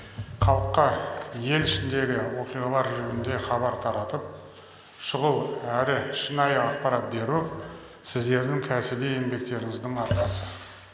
халыққа ел ішіндегі оқиғалар жөнінде хабар таратып шұғыл әрі шынайы ақпарат беру сіздердің кәсіби еңбектеріңіздің арқасы